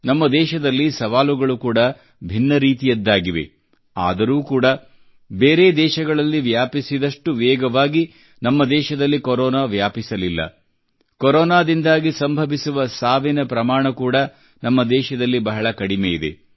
ನಮ್ಮ ದೇಶದಲ್ಲಿ ಸವಾಲುಗಳು ಕೂಡಾ ಭಿನ್ನ ರೀತಿಯದ್ದಾಗಿವೆ ಆದರೂ ಕೂಡಾ ಬೇರೆ ದೇಶಗಳಲ್ಲಿ ವ್ಯಾಪಿಸಿದಷ್ಟು ವೇಗವಾಗಿ ನಮ್ಮ ದೇಶದಲ್ಲಿ ಕೊರೊನಾ ವ್ಯಾಪಿಸಲಿಲ್ಲ ಕೊರೊನಾದಿಂದಾಗಿ ಸಂಭವಿಸುವ ಸಾವಿನ ಪ್ರಮಾಣ ಕೂಡಾ ನಮ್ಮ ದೇಶದಲ್ಲಿ ಬಹಳ ಕಡಿಮೆ ಇದೆ